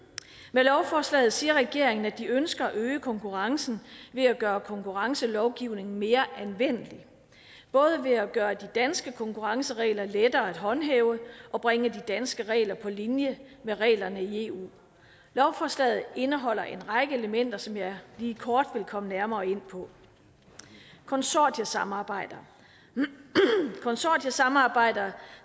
med lovforslaget siger regeringen at den ønsker at øge konkurrencen ved at gøre konkurrencelovgivningen mere anvendelig både ved at gøre de danske konkurrenceregler lettere at håndhæve og bringe de danske regler på linje med reglerne i eu lovforslaget indeholder en række elementer som jeg lige kort vil komme nærmere ind på konsortiesamarbejder konsortiesamarbejder